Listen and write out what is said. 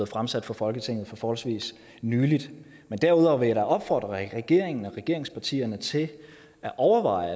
fremsat for folketinget for forholdsvis nylig men derudover vil jeg da opfordre regeringen og regeringspartierne til at overveje